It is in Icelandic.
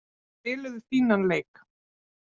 Þeir spiluðu fínan leik.